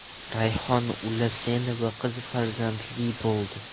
Rayhon Ulasenova qiz farzandli bo‘ldi .